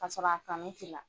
Ka sɔrɔ a kanu t'i la.